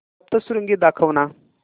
सप्तशृंगी दाखव ना